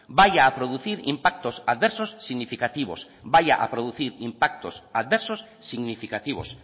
vaya a producir impactos adversos significativos vaya a producir impactos adversos significativos